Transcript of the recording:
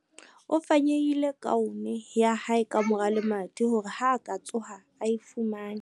O fanyehile kaone ya hae ka mora lemati hore ha a ka tsoha a e fumane.